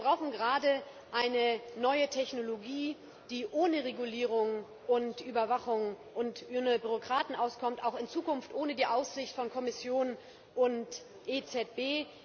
Aber wir brauchen gerade eine neue Technologie, die ohne Regulierung und Überwachung und ohne Bürokraten auskommt auch in Zukunft ohne die Aufsicht von Kommission und EZB.